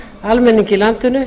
almenning í landinu